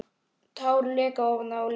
Tár leka ofan á letrið.